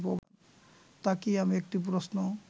তাকিয়ে আমি একটি প্রশ্ন